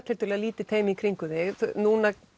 tiltölulega lítið teymi í kringum þig núna